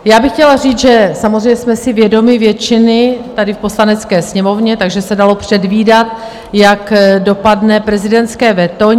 Já bych chtěla říct, že samozřejmě jsme si vědomi většiny tady v Poslanecké sněmovně, takže se dalo předvídat, jak dopadne prezidentské veto.